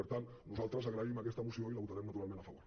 per tant nosaltres agraïm aquesta moció i hi votarem a favor